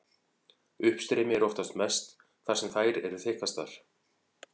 Uppstreymi er oftast mest þar sem þær eru þykkastar.